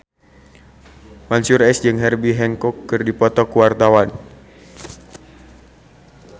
Mansyur S jeung Herbie Hancock keur dipoto ku wartawan